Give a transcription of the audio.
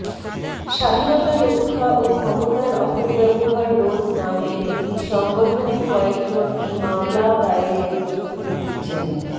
স্বাধীনতা রক্ষা ও ক্ষমতার অপব্যবহার রোধ নামের একটি সংগঠনের কয়েকজন এই মামলা দায়েরের প্রস্তুতি নিচ্ছেন